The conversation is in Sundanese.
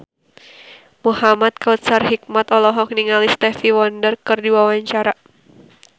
Muhamad Kautsar Hikmat olohok ningali Stevie Wonder keur diwawancara